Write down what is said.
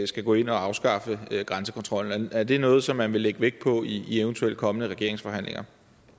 skal gå ind og afskaffe grænsekontrollen er det noget som man vil lægge vægt på i eventuelt kommende regeringsforhandlinger